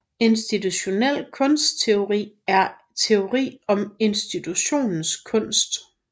Institutionel kunstteori er teori om institutionen kunst